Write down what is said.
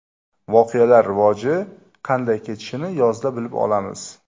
Voqealar rivoji qanday kechishini yozda bilib olamiz.